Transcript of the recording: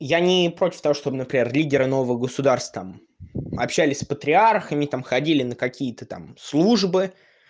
я не против того чтобы например лидеры нового государства там общались с патриархами там ходили на какие-то там службы